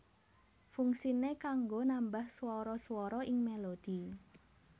Fungsiné kanggo nambah swara swara ing melodi